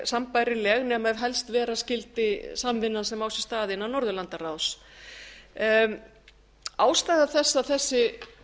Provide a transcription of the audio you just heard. sambærileg nema ef helst vera skyldi samvinnan sem á sér stað innan norðurlandaráðs ástæða þess að þessi